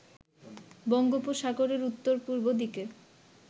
বঙ্গোপসাগরের উত্তর-পূর্ব দিকে